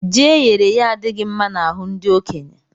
Ji eyere èyé adighi mma n'ahu ndi okenye